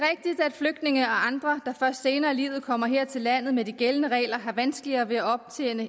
flygtninge og andre der først senere i livet kommer her til landet med de gældende regler har vanskeligere ved at optjene